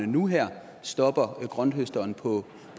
nu her stopper grønthøsteren på